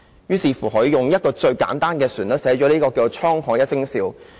結果，他採用一個最簡單的旋律寫了"滄海一聲笑"。